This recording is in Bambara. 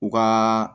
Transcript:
U ka